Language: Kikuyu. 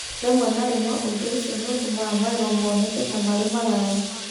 Rĩmwe na rĩmwe ũndũ ũcio nĩ ũtũmaga magego moneke ta marĩ maraya.